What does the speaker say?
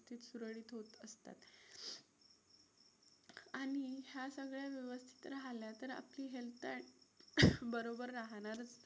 आणि ह्या सगळ्या व्यवस्थित राहिल्या तर आपली health बरोबर राहणारच.